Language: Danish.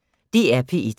DR P1